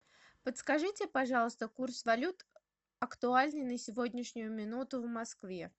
подскажите пожалуйста курс валют актуальный на сегодняшнюю минуту в москве